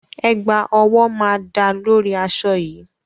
Ẹ̀gbá ọwọ́ máa dáa lórí aṣọ yìí.